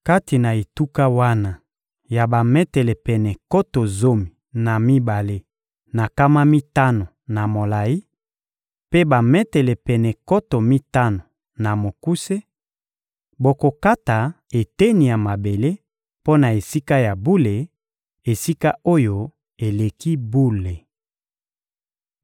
Kati na etuka wana ya bametele pene nkoto zomi na mibale na nkama mitano na molayi, mpe bametele pene nkoto mitano na mokuse, bokokata eteni ya mabele mpo na Esika ya bule, Esika-Oyo-Eleki-Bule.